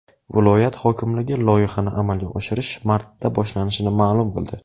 Viloyat hokimligi loyihani amalga oshirish martda boshlanishini ma’lum qildi.